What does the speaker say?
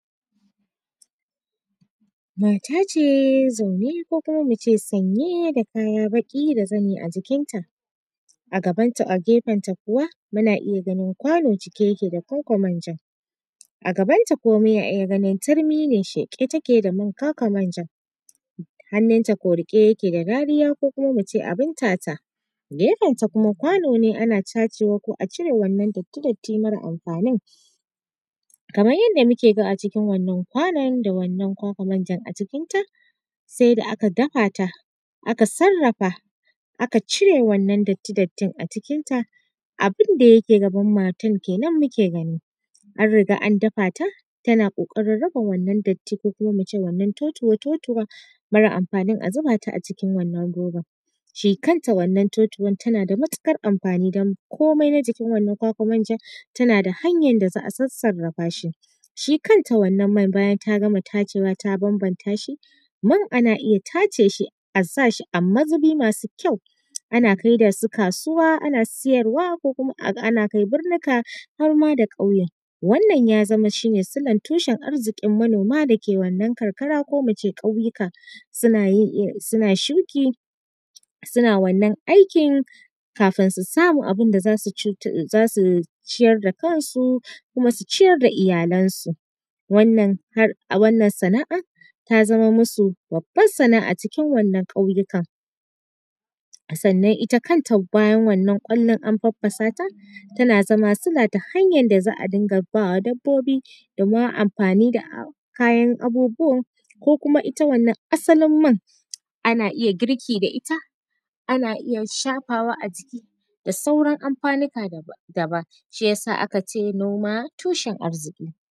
Mata ce zaune ko kuma mu ce sanye da kaya baƙi da zane a jikin ta, a gaban ta gefen ta kuwa muna iya ganin kwano cike yake da kwakwar manja, a gaban ta kuma muna iya ganin turmi ne sheƙe take da man kwakwar manjar, hannun ta riƙe yake da rariya ko kuma mu ce abin tata gefen ta kuma kwano ne ana tacewa ko a cire wannan datti-datti mara amfanin. Kamar yadda muke ga a cikin wannan kwanon da wannan kwakwar manjan a cikin ta sai da aka dafa ta aka sarrafa aka cire wannan datti-dattin acikin ta, abin da ya ke gaban matar kenan muke gani. An riga an dafa ta tana ƙoƙarin rufe wannan datti ko kuma mu ce wannan totuwa-totuwa mara amfanin a zuba ta a cikin wannan robar, shi kanta wannan totuwar tana da matuƙar amfani don komai na jikin wannan kwakwar manjar tana da hanyar da za a sassarafa shi. Shi kanta wannan man bayan ta gama tacewa ta banbanta shi, man ana iya tace shi a sa shi a mazubi masu kyau ana kaida su kasuwa ana siyarwa ko kuma ana kai birnika har ma da ƙauye. Wannan ya zama shine silar tushen arziƙin manoma da ke wannan karkara ko mu ce ƙauyuka. Suna yin suna shuki suna wannan aikin kafin su samu abin da za su ciyar da kan su kuma su ciyar da iyalan su. Wannan har wannan sana’a ta zama masu babbar sana’a a cikin wannan ƙauyuka. Sannan ita kanta bayan bayan wannan ƙwallon an faffasa ta, tana zama sila ta hanyar da za a dinga bawa dabbobi domin amfani da kayan abubuwan ko kuma ita wannan asalin man ana iya girki da ita, ana iya shafawa a jiki da sauran amfanika daban shi ya sa aka ce noma tushen arziƙi.